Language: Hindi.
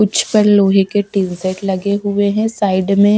कुछ पर लोहे के टिनसेट लगे हुए हैं साइड में--